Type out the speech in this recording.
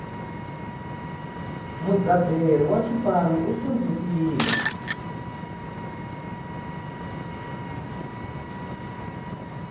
mudzaberi wa xipanu u hlundzukile